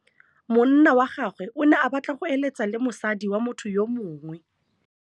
Monna wa gagwe o ne a batla go êlêtsa le mosadi wa motho yo mongwe.